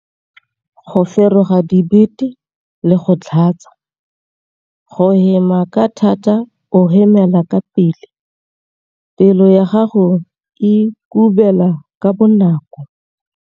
Go feroga dibete le go tlhatsa. Go hema ka thata o hemela ka pele. Pelo ya gago e kubela ka bonako.